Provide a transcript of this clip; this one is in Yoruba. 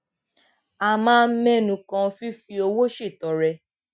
a máa ń ménu kan fífi owó ṣètọrẹ